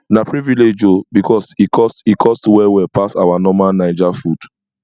na privilege o because e cost e cost well well pass our normal naija food